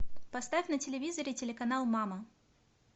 поставь на телевизоре телеканал мама